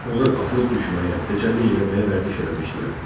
Onlar atılıb düşməyə, dəcəllik eləməyə vərdiş eləmişdilər.